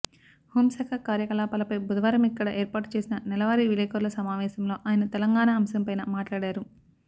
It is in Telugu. హోం శాఖ కార్యకలాపాలపై బుధవారమిక్కడ ఏర్పాటు చేసిన నెలవారీ విలేకరుల సమావేశంలో ఆయన తెలంగాణా అంశంపైనా మాట్లాడారు